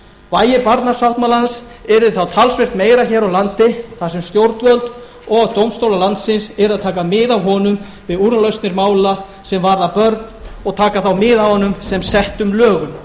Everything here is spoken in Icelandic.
vægi barnasáttmálans yrði þá talsvert meiri hér á landi þar sem stjórnvöld og dómstólar landsins yrðu að taka mið af honum við úrlausnir mála sem varða börn og taka þá mið af honum sem settum lögum